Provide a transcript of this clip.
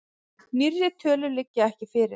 Nýrri tölur liggja ekki fyrir.